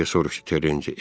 Deyə soruşdu Terrencə.